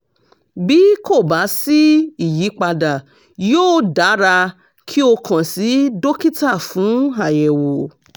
bí kò bá sí ìyípadà yóò dára kí o kàn sí dókítà fún àyẹ̀wò